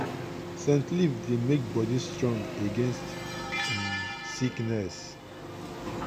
scent leaf dey make body strong against um sickness.